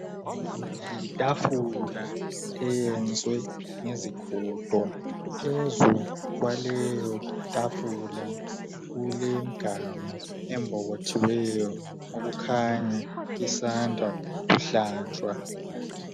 yi tafula eyenzwe ngezigodo phezu kwaleyo tafula kulemganu embokothiweyo okukhanya isanda kuhlanjwa